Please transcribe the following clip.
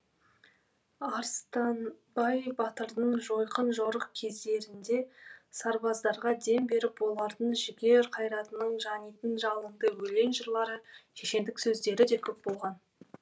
арыстанбай батырдың жойқын жорық кездерінде сарбаздарға дем беріп олардың жігер қайратының жанитын жалынды өлең жырлары шешендік сөздері де көп болған